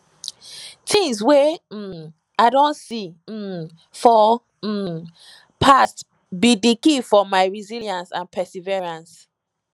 tings wey um i don see um for um past be di key for my resilience and perseverance